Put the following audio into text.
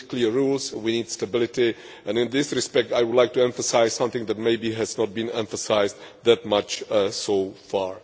We need clear rules, we need stability and, in this respect, I would like to emphasise something that maybe has not been emphasised that much so far.